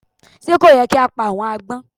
Sé kò yẹ kí á pa àwọn agbón